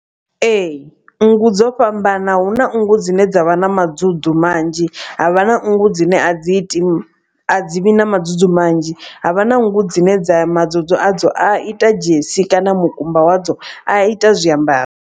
Ee nngu dzo fhambana huna nngu dzine dza vha na madzudzu manzhi. Havha na nngu dzine a dzi iti a dzi vhi na madzudzu manzhi ha vha na nngu dzine dza madzudzu a dzo a ita dzhesi kana mukumba wadzo a ita zwiambaro.